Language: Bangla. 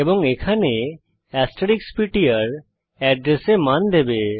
এবং এখানে এস্টেরিস্ক পিটিআর এড্রেসে মান দেবে